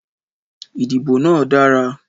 Ìdìbò náà dára.